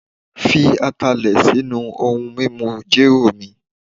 fi Atalẹ sinu ohun mimu jero mi